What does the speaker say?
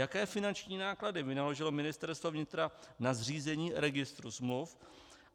Jaké finanční náklady vynaložilo Ministerstvo vnitra na zřízení registru smluv?